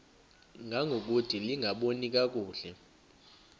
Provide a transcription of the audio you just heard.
ngangokude lingaboni kakuhle